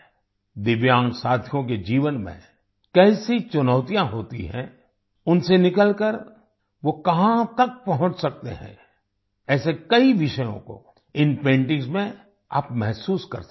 दिव्यांग साथियों के जीवन में कैसी चुनौतियाँ होती हैं उनसे निकलकर वो कहाँ तक पहुँच सकते हैं ऐसे कई विषयों को इन पेंटिंग्स में आप महसूस कर सकते हैं